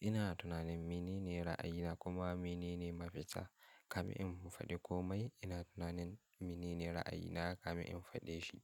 Ina tunanin mene ne ra'ayina kuma mene ne mafita. Kamin in faɗi komai, ina tunanin mene ne ra'ayina kamin in faɗe shi.